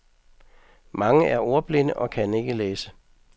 Mange er ordblinde og kan ikke læse.